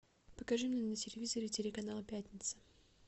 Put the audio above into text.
покажи мне на телевизоре телеканал пятница